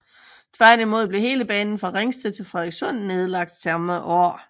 Tværtimod blev hele banen fra Ringsted til Frederikssund nedlagt samme år